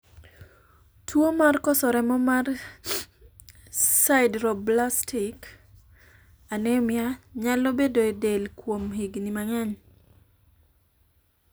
tuo mar koso remo mar sideroblastic anemia nyalo bedo e del kuom higni mang'eny